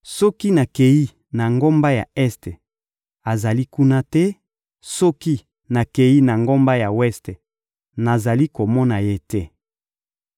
Soki nakeyi na ngambo ya este, azali kuna te; soki nakeyi na ngambo ya weste, nazali komona Ye te.